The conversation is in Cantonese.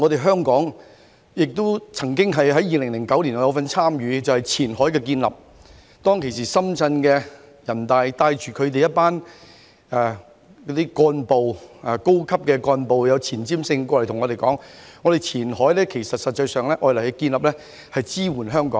香港曾於2009年參與建立前海，當時深圳的人大代表帶領當地一群高級幹部，以前瞻性的口吻向我們表示，前海的建立實際上是用以支援香港。